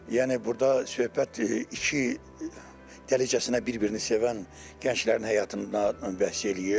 Yəni burda söhbət iki dərəcəsinə bir-birini sevən gənclərin həyatından bəhs eləyir.